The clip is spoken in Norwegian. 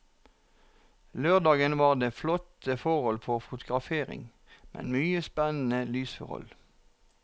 Lørdagen var det flotte forhold for fotografering med mye spennende lysforhold.